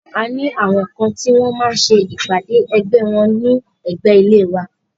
A ní àwọn kan tí wọ́n máa ń ṣe ìpàdé ẹgbẹ́ wọ́n ní ẹ̀gbé ilé wa.